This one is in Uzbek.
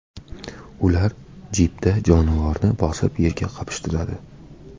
Ular jipda jonivorni bosib, yerga qapishtiradi.